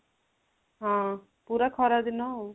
ହଁ ପୁରା ଖରା ଦିନ ଆଉ